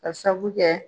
Ka sabu kɛ